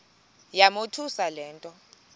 yamothusa le nto